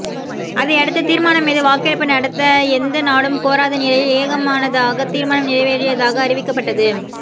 அதையடுத்து தீர்மானம் மீது வாக்கெடுப்பு நடத்த எந்த நாடும் கோராத நிலையில் ஏகமனதாக தீர்மானம் நிறைவேறியதாக அறிவிக்கப்பட்டது